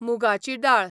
मुगाची दाळ